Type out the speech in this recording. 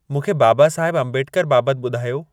मूंखे बाबासाहिबु अम्बेडकर बाबति ॿुधायो